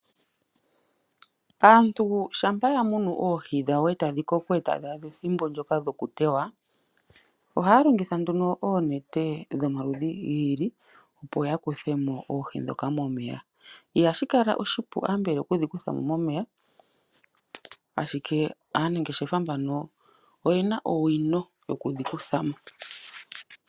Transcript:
Aantu ohaya longitha oonete dho maludhi gi ili opo yakuthemo oohi ndhika mo meya opo dhi kalandithwepo ku monike oshimaliwa.